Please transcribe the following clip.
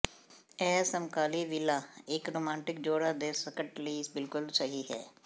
ਇਹ ਸਮਕਾਲੀ ਵਿਲਾ ਇਕ ਰੁਮਾਂਟਿਕ ਜੋੜਾ ਦੇ ਸੰਕਟ ਲਈ ਬਿਲਕੁਲ ਸਹੀ ਹੈ